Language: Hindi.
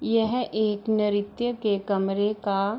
यह एक नृत्य के कमरे का --